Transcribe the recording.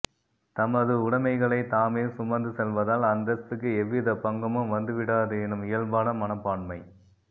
தமது உடமைகளைத் தாமே சுமந்து செல்வதால் அந்தஸ்துக்கு எவ்வித பங்கமும் வந்து விடாது எனும் இயல்பான மனப்பான்மை